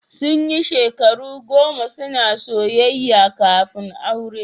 Sun yi shekaru goma suna soyayya kafin aure.